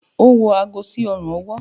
o wọ aago sí ọrùn-ọwọ́.